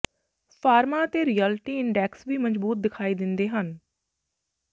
pharma ਅਤੇ realty index ਵੀ ਮਜ਼ਬੂਤ ਦਿਖਾਈ ਦਿੰਦੇ ਹਨ